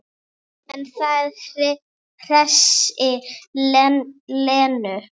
En það hressir Lenu.